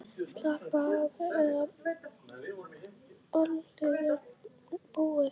Slappaðu af, eða ballið er búið.